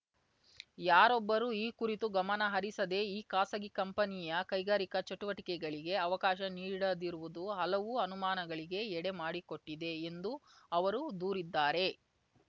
ಯಾರೊಬ್ಬರೂ ಈ ಕುರಿತು ಗಮನ ಹರಿಸದೇ ಈ ಖಾಸಗಿ ಕಂಪನಿಯ ಕೈಗಾರಿಕಾ ಚಟುವಟಿಕೆಗಳಿಗೆ ಅವಕಾಶ ನೀಡದಿರುವುದು ಹಲವು ಅನುಮಾನಗಳಿಗೆ ಎಡೆ ಮಾಡಿಕೊಟ್ಟಿದೆ ಎಂದು ಅವರು ದೂರಿದ್ದಾರೆ